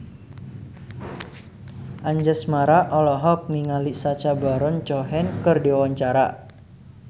Anjasmara olohok ningali Sacha Baron Cohen keur diwawancara